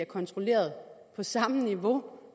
kontrolleret på samme niveau